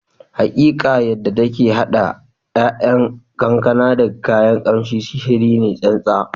Hakika! Yadda take hada 'ya'yan kankana da kayan kamshi, sihiri ne tsantsa